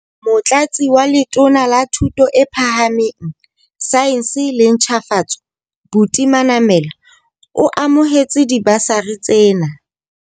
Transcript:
Motlatsi wa Letona la Thuto e Phahameng, Saense le Ntjhafatso, Buti Manamela, o amohetse dibasari tsena.